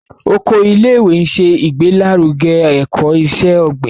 Oko ilé-ìwé nṣe igbelaruge ẹkọ iṣẹ-ogbin.